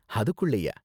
அதுக்குள்ளயா?